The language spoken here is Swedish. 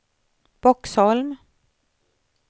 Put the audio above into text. Boxholm